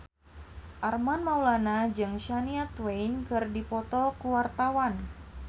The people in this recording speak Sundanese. Armand Maulana jeung Shania Twain keur dipoto ku wartawan